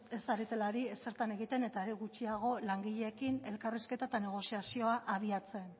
ez zaretela ari ezer egiten eta are gutxiago langileekin elkarrizketan eta negoziazio abiatzen